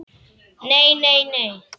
Nei, nei, nei.